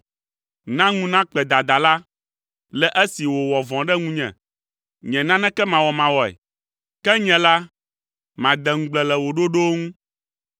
Na ŋu nakpe dadala, le esi wòwɔ vɔ̃ ɖe ŋunye, nye nanekemawɔmawɔe; ke nye la, made ŋugble le wò ɖoɖowo ŋu.